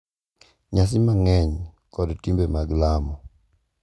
Nyasi mang’eny kod timbe mag lamo ,